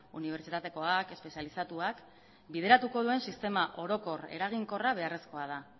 unibertsitatekoak espezializatuak bideratuko duen sistema orokor eraginkorra beharrezkoa da